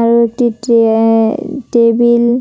আরো একটি টে এ টেবিল ।